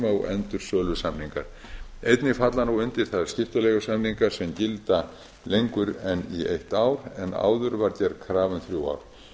og endursölusamningar einnig falla nú undir það skiptileigusamninga sem gilda lengur en í eitt ár en áður var gerð krafa um þrjú ár